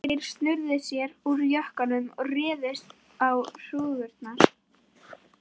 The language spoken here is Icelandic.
Þeir snöruðu sér úr jökkunum og réðust á hrúgurnar.